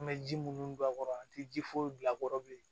An bɛ ji munnu don a kɔrɔ an ti ji foyi bil'a kɔrɔ bilen